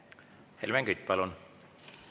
Helmen Kütt, palun!